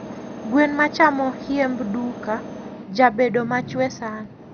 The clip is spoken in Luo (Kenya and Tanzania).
gwen machamo hiemb duka jabedo machwe sana